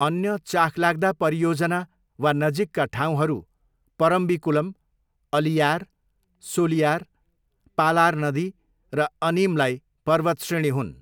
अन्य चाखलाग्दा परियोजना वा नजिकका ठाउँहरू परम्बिकुलम, अलियार, सोलियार, पालार नदी र अनीमलाई पर्वतश्रेणी हुन्।